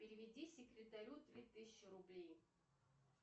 переведи секретарю три тысячи рублей